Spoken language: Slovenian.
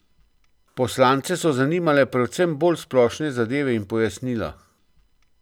Poslance so zanimale predvsem bolj splošne zadeve in pojasnila.